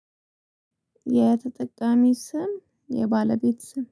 የተጠቃሚ ስም የባለቤት ስም